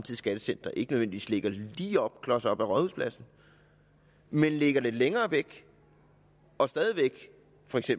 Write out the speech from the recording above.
skattecenter ikke nødvendigvis ligger lige klos op af rådhuspladsen men ligger længere væk og stadig væk